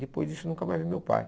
Depois disso eu nunca mais vi meu pai.